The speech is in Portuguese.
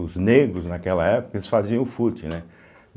Os negros, naquela época, eles faziam fute, né.